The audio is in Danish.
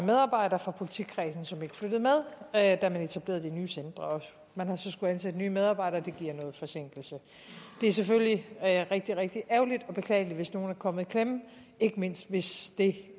medarbejdere fra politikredsen som ikke flyttede med da man etablerede de nye centre og man har så skullet ansætte nye medarbejdere og det giver noget forsinkelse det er selvfølgelig rigtig rigtig ærgerligt og beklageligt hvis nogen er kommet i klemme ikke mindst hvis det